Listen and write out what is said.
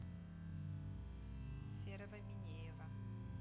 серого минеева